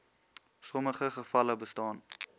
sommige gevalle bestaan